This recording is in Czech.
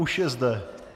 Už je zde!